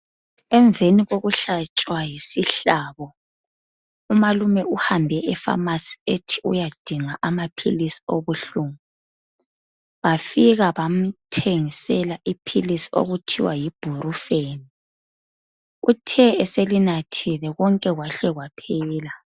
Emveni kokuhlatshwa yisihlabo umalume uhambe e"phrmacy" ethi uyadinga amaphilisi obuhlungu bafika bamthengisela iphilisi okuthiwa yi"IBUPROFEN".Uthe eselinathile konke kwahle kwaphela.